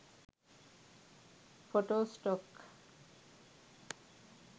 photo stock